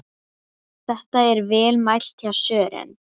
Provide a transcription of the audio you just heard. Þetta er vel mælt hjá Sören.